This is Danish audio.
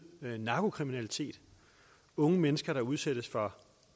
narkokriminalitet unge mennesker der udsættes for